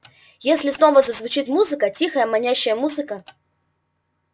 если снова зазвучит музыка тихая манящая музыка